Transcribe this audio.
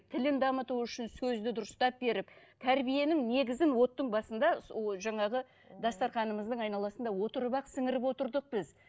тілін дамыту үшін сөзді дұрыстап беріп тәрбиенің негізін оттың басында сол жаңағы дастарханымыздың айналасында отырып ақ сіңіріп отырдық біз